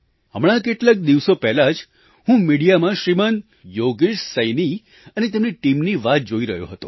હમણાં કેટલાક દિવસો પહેલાં જ હું મિડિયામાં શ્રીમાન યોગેશ સૈની અને તેમની ટીમની વાત જોઈ રહ્યો હતો